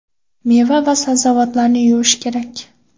Meva va sabzavotlarni yuvish kerak.